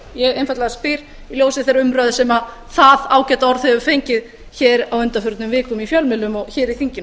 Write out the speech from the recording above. ég einfaldlega spyr í ljósi þeirrar umræðu sem það ágæta orð hefur fengið hér á undanförnum vikum í fjölmiðlum og hér í þinginu